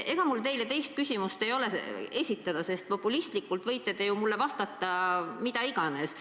Ega mul teile teist küsimust ei ole, sest populistlikult võite te mulle vastata mida iganes.